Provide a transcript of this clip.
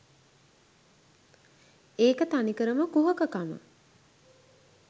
ඒක තනිකරම කුහක කම